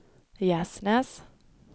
Gärsnäs